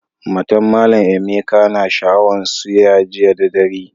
Matan mallam Emeka na sha'awan suya jiya da dare.